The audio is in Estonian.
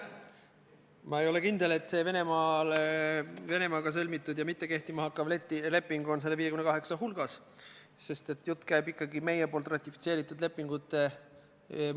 Kahjuks on majandusministeeriumil jäänud konsulteerimata kõige otsesema sihtgrupiga, Euroopa Ühenduse määruse artikli 22 sihtgrupiga ehk puuetega inimestega, Eesti Puuetega Inimeste Kojaga.